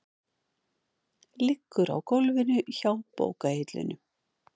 Liggur á gólfinu hjá bókahillunum.